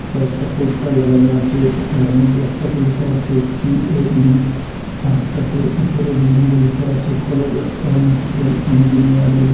কয়েকটা পোস্টার লাগানো আছে যার মইধ্যে একটাতে লিখা আছে সি_এ_ই আরেকটাতে উপরে বিল্ডিংয়ে লেখা আছে কলেজ অফ অ্যারোনাটিকাল ইঞ্জিনিয়ারিং ।